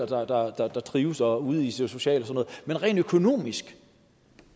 forældre der trives og kommer ud socialt men rent økonomisk